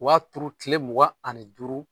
Je b'a turu tile mugan ani duru.